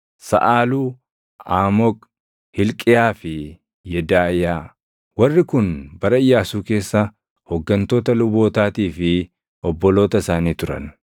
Saʼaaluu, Aamoq, Hilqiyaa fi Yedaaʼiyaa. Warri kun bara Iyyaasuu keessa hooggantoota lubootaatii fi obboloota isaanii turan.